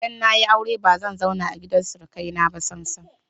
Idan na yi aure ba zan zauna a gidan surukaina ba sam-sam.